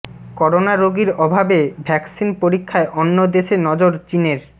corona রোগীর অভাবে vaccine পরীক্ষায় অন্য দেশে নজর চীনের